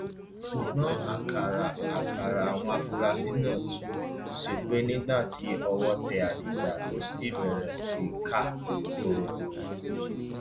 ṣùgbọn àkàrà àkàrà àwọn afurasí náà tú sẹpẹ nígbà tí ọwọ tẹ adisa tó sì bẹrẹ sí í ká bọrọbọrọ